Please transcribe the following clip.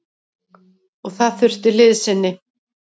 Og það þurfti liðsinni.